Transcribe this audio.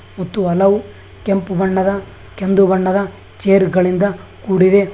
ಮತ್ತು ಹಲವು ಕೆಂಪು ಬಣ್ಣದ ಕೇಂದು ಬಣ್ಣದ ಚೇರ್ ಗಳಿಂದ ಕೂಡಿದೆ.